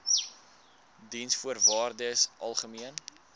diensvoorwaardesalgemene